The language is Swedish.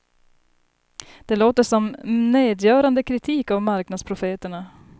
Det låter som nedgörande kritik av marknadsprofeterna.